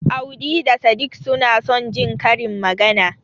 Audi da Sadik suna son Jin karin magana.